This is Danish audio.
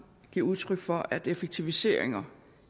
giver udtryk for at effektiviseringer